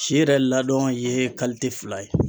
Si yɛrɛ ladɔn ye fila ye.